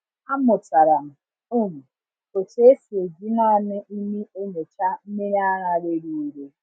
Amụtara m um otú esi eji naanị imi enyocha mmiri ara rere ure.